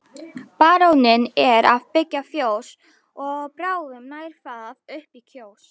Baróninn er að byggja fjós og bráðum nær það upp í Kjós.